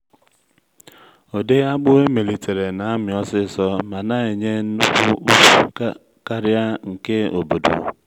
ụdị akpụ emelitere na-amị osisor ma na-enye nnukwu ukwu karịa nke obodo.